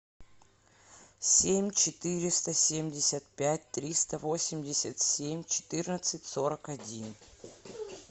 семь четыреста семьдесят пять триста восемьдесят семь четырнадцать сорок один